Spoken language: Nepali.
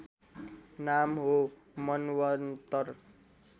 नाम हो मन्वन्तर